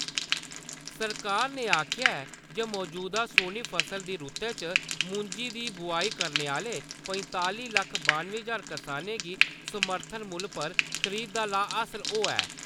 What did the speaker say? सरकार ने आखेआ ऐ जे मजूदा सोऐ फसलें दी रूतै च मुंजी दी बुआई करने आह्‌ले पंताली लक्ख बानुएं ज्हार करसानें गी समर्थन मुल्ल पर खरीद दा लाह् हासल होआ ऐ।